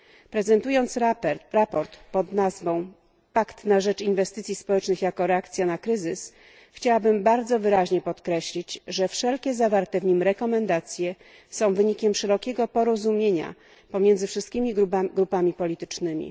Prezentując sprawozdanie pod nazwą Pakt na rzecz inwestycji społecznych jako reakcja na kryzys, chciałabym bardzo wyraźnie podkreślić, że wszelkie zawarte w nim rekomendacje są wynikiem szerokiego porozumienia pomiędzy wszystkimi grupami politycznymi.